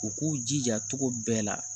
U k'u jija cogo bɛɛ la